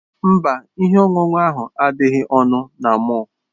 Mba, ihe ọṅụṅụ ahụ adịghị ọnụ na mọll.